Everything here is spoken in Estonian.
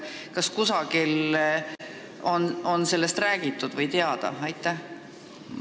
Kas kusagil on sellest räägitud või on see lihtsalt teile teada?